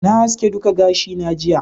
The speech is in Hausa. na haske duka gashi na jiya